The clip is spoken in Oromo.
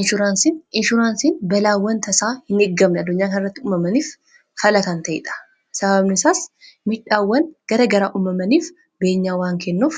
inshuraansiin balaawwan tasaa hin eeggamne addunyaa kan irratti uumamaniif fala kan ta'niidha. sababni isaas midhaawwan gara garaa uumamaniif beenyaa waan kennuuf